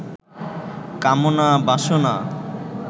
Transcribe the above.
কামনা বাসনা